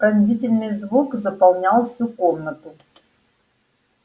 пронзительный звук заполнял всю комнату